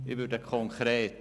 Ich werde konkret: